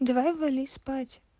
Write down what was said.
давай вали спать